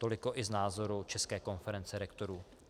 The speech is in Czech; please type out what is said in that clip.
Toliko i z názoru České konference rektorů.